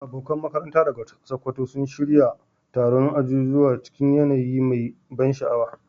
Abokan makaranta daga Sokoto sun shirya taron ajujuwa cikin yanayi mai ban sha'awa.